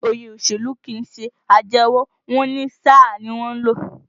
Wọ́n ní òye òṣèlú kìí ṣe àjẹwọ̀, wọ́n ní sáà ni wọ́n ń lò